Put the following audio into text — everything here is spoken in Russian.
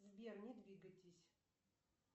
сбер не двигайтесь